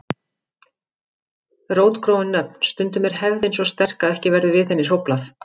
Rótgróin nöfn Stundum er hefðin svo sterk að ekki verður við henni hróflað.